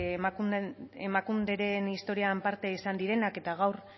emakundearen historiaren parte izan direnak eta gaur